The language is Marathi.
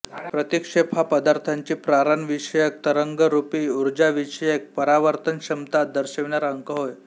प्रतिक्षेप हा पदार्थाची प्रारणविषयक तरंगरूपी ऊर्जाविषयक परावर्तनक्षमता दर्शविणारा अंक होय